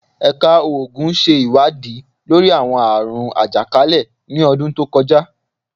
Ẹka Oogun ṣe iwadii lori awọn aarun ajakalẹ ni ọdun to kọja